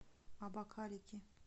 абакалики